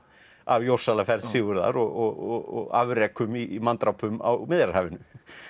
af Jórsalaferð Sigurðar og afrekum í manndrápum á Miðjarðarhafinu